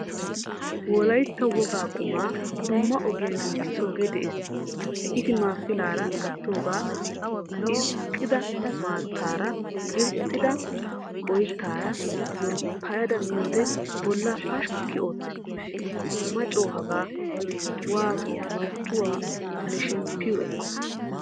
Wolaytta wogaa qumma dumma ogiyan giigisoge de'ees. Ittimaa pilaara gattoga irkkida maattaara irxxidaga oyttaara yolppayada miyode bolla pashshkki oottees. Ma co hagaa waato marccuwawu ne shemmpiyo ekko.